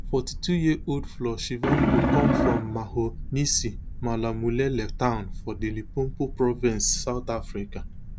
forty-twoyear old floyd shivambu come from mahonisi malamulele town for di limpopo province south africa